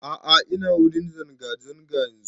A'a ina wurin zanga zanga yanzun